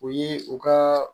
O ye u ka